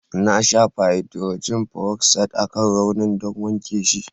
Na shafa haidrojin feroksaid akan raunin don wanke shi.